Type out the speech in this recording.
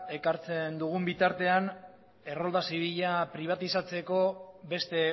ekartzen dugun bitartean errolda zibila pribatizatzeko beste